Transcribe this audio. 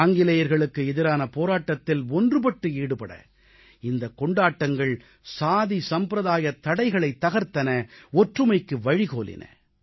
ஆங்கிலேயர்களுக்கு எதிரான போராட்டத்தில் ஒன்றுபட்டு ஈடுபட இந்தக் கொண்டாட்டங்கள் சாதி சம்பிரதாயத் தடைகளைத் தகர்த்தன ஒற்றுமைக்கு வழிகோலின